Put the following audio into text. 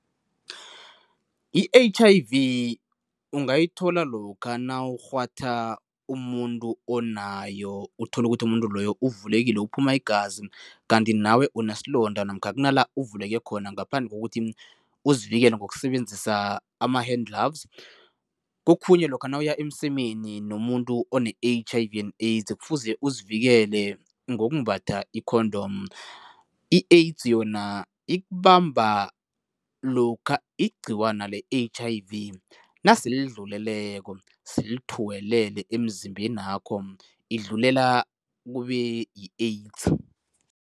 I-H_I_V ungayithola lokha nawukghwatha umuntu onayo, uthola ukuthi umuntu loyo uvulekile uphuma igazi kanti nawe unesilonda namkha kunala uvuleke khona kokuthi uzivikele ngokusebenzisa ama-hand gloves. Kokhunye lokha nawuya emsemeni nomuntu one-H_I_V and AIDS kufuze uzivikele ngokumbatha i-condom. I-AIDS yona ikubamba lokha igcikwana le-H_I_V nasele lidluleleko, selithuwelele emzimbenakho, idlulela kube yi-AIDS.